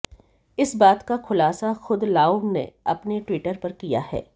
इस बात का खुलासा खुद लाउव ने अपने ट्विटर पर किया है